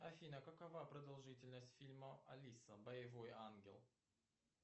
афина какова продолжительность фильма алиса боевой ангел